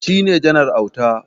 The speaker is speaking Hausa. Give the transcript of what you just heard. Shi ne Janar Auta.